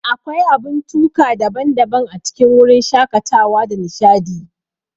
Akwai abun tuka daban-daban a cikin wurin shakatawa da nishadi.